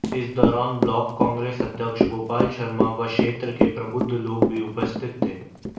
इस दौरान ब्लॉक कांग्रेस अध्यक्ष गोपाल शर्मा व क्षेत्र के प्रबुद्ध लोग भी उपस्थित थे